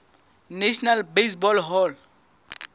national baseball hall